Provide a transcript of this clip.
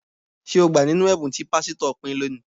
Ṣé o gbà nínú ẹ̀bùn tí pásítọ̀ pín léẹ̀ní?